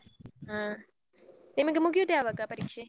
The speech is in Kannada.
ಹಾ, ನಿಮಗೆ ಮುಗಿಯುದು ಯಾವಾಗ ಪರೀಕ್ಷೆ?